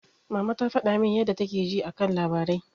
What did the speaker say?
Mama ta faɗa min yadda take ji a kan labarai.